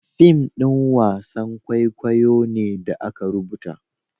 fim ɗin wasan kwaikwayo ne da aka rubuta